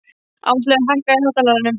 Ásleif, hækkaðu í hátalaranum.